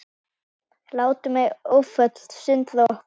Látum ei áföllin sundra okkur.